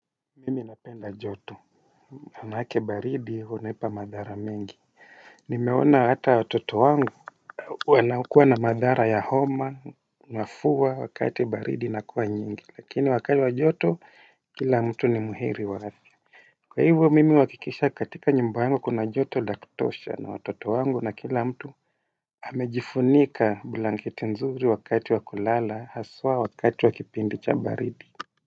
Mimi napenda joto, manake baridi, hunipa madhara mingi. Nimeona hata watoto wangu wanakuwa na madhara ya homa, mafua, wakati baridi inakuwa nyingi, lakini wakati wa joto, kila mtu ni muheri wa afya. Kwa hivyo, mimi huhakikisha katika nyumba yangu kuna joto la kutosha na watoto wangu na kila mtu amejifunika blanketi nzuri wakati wa kulala, haswa wakati wa kipindi cha baridi.